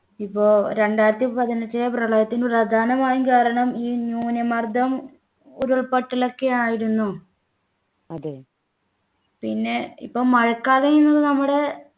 ഇപ്പോൾ രണ്ടായിരത്തി പതിനെട്ടിലെ പ്രളയത്തിൽ പ്രധാനമായും കേരളം ഈ ന്യൂനമർദ്ദം ഉരുൾപൊട്ടൽ ഒക്കെയായിരുന്നു പിന്നെ ഇപ്പം മഴക്കാലം ഇന്ന് നമ്മുടെ